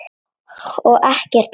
Og ekkert óvænt.